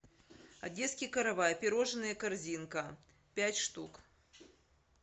одесский каравай пирожное корзинка пять штук